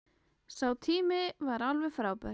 Sá tími var alveg frábær.